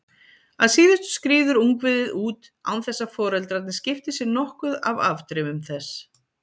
Að síðustu skríður ungviðið út án þess að foreldrarnir skipti sér nokkuð af afdrifum þess.